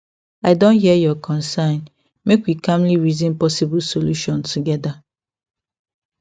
i don hear your concern make we calmly reason possible solution together